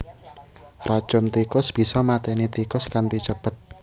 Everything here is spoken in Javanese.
Racun tikus bisa maténi tikus kanthi cepet